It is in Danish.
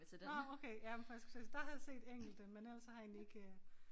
Nåh okay ja men for jeg skulle til at der har jeg set enkelte men ellers så har jeg egentlig ikke øh